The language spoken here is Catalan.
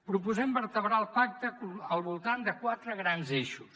proposem vertebrar el pacte al voltant de quatre grans eixos